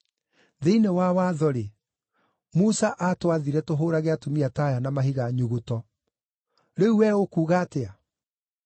Thĩinĩ wa watho-rĩ, Musa aatwathire tũhũũrage atumia ta aya na mahiga nyuguto. Rĩu we ũkuuga atĩa?”